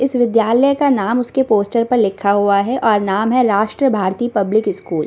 इस विद्यालय का नाम उसके पोस्टर पर लिखा हुआ है और नाम है राष्ट्र भारती पब्लिक स्कुल ।